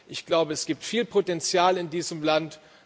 Ich glaube, es gibt viel Potenzial in diesem Land.